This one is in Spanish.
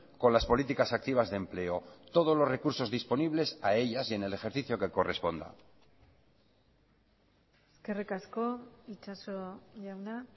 con las políticas activas de empleo todos los recursos disponibles a ellas y en el ejercicio que corresponda eskerrik asko itxaso jauna